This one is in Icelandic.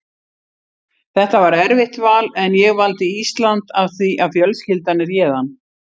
Þetta var erfitt val en ég valdi Ísland af því að fjölskyldan er héðan.